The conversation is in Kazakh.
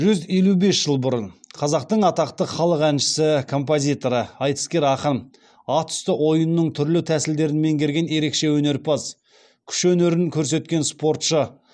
жүз елу бес жыл бұрын қазақтың атақты халық әншісі композиторы айтыскер ақын ат үсті ойынының түрлі тәсілдерін меңгерген ерекше өнерпаз күш өнерін көрсеткен спортшы